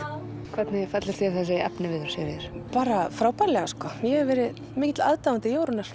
hvernig fellur þér þessi efniviður Sigríður bara frábærlega sko ég hef verið mikill aðdáandi Jórunnar